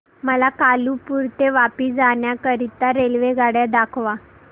मला कालुपुर ते वापी जाण्या करीता रेल्वेगाड्या दाखवा